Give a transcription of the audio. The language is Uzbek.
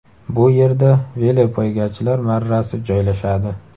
Bu yerda velopoygachilar marrasi joylashadi.